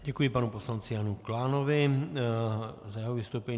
Děkuji panu poslanci Janu Klánovi za jeho vystoupení.